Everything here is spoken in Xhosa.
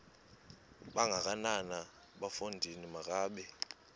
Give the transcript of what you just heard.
kangakanana bafondini makabe